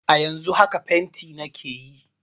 A yanzun haka fenti nake yi